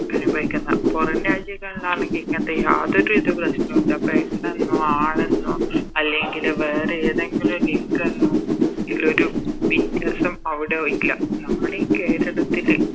അനുഭവിക്കുന്നെ പൊറം രാജ്യങ്ങളിലാണെങ്കിൽ ഇങ്ങനത്തെ യാതൊരുത് പ്രശ്നോല്ല പെണ്ണെന്നോ ആണെന്നോ അല്ലെങ്കില് വേറേതെങ്കിലും ലിങ്കെന്നോ ഇള്ളൊരു വ്യത്യസം അവിടെ ഇല്ല നമ്മളി കേരളത്തില്